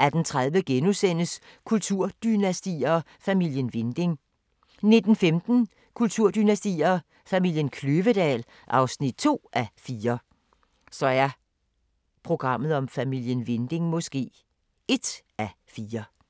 18:30: Kulturdynastier: Familien Winding * 19:15: Kulturdynastier: Familien Kløvedal (2:4)